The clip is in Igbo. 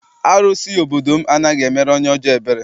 Arụsị obodo m anaghị emere onye ọjọọ ebere.